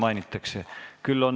Repliigiks teil võimalust ei ole.